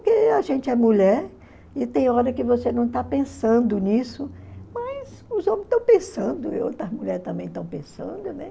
porque a gente é mulher, e tem hora que você não está pensando nisso, mas os homens estão pensando, e outras mulheres também estão pensando, né?